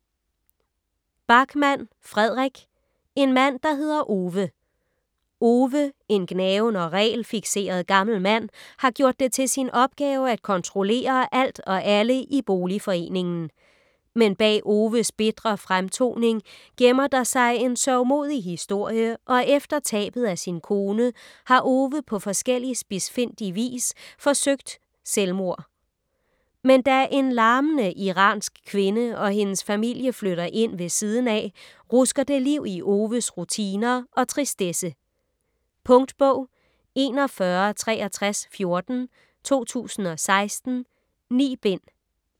Backman, Fredrik: En mand der hedder Ove Ove, en gnaven og regelfikseret gammel mand, har gjort det til sin opgave at kontrollere alt og alle i boligforeningen. Men bag Oves bitre fremtoning gemmer der sig en sørgmodig historie og efter tabet af sin kone har Ove på forskellig spidsfindig vis forsøgt selvmord. Men da en larmende iransk kvinde og hendes familie flytter ind ved siden af, rusker det liv i Oves rutiner og tristesse. Punktbog 416314 2016. 9 bind.